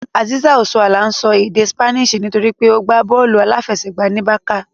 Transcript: Azeezat Osoala ń sọ èdè Spanish nítorí pé ó gbá bọ́ọ̀lù aláfẹsẹ̀gbá ní Barça